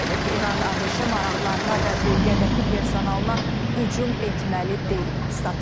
İran ABŞ maraqlarına və bölgədəki personalına hücum etməməlidir.